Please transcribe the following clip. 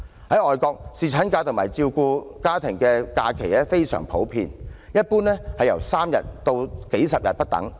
在外國，侍產假及照顧家庭的假期非常普遍。一般由3天至數十天不等。